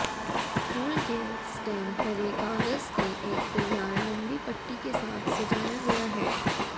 फूल के स्टेम हरे कागज के एक तैयार लंबी पट्टी के साथ सजाया गया है